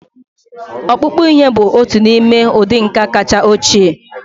Ọkpụkpụ ihe bụ otu n'ime ụdị nka kacha ochie